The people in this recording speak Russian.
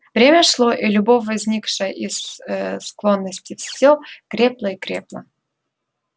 время шло и любовь возникшая из ээ склонности всё крепла и крепла